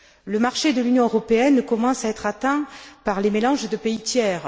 Le marché de l'Union européenne commence à être atteint par les mélanges de pays tiers.